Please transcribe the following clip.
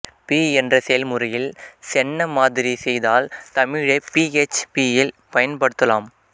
B என்ற செய்முறையில் சென்ன மாதிரி செய்தால் தமிழை பி எச் பியில் பயன்படுத்தலாம்